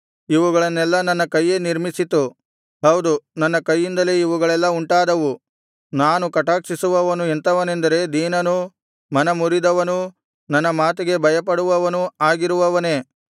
ಇವುಗಳನ್ನೆಲ್ಲಾ ನನ್ನ ಕೈಯೇ ನಿರ್ಮಿಸಿತು ಹೌದು ನನ್ನ ಕೈಯಿಂದಲೇ ಇವುಗಳೆಲ್ಲಾ ಉಂಟಾದವು ನಾನು ಕಟಾಕ್ಷಿಸುವವನು ಎಂಥವನೆಂದರೆ ದೀನನೂ ಮನಮುರಿದವನೂ ನನ್ನ ಮಾತಿಗೆ ಭಯಪಡುವವನೂ ಆಗಿರುವವನೇ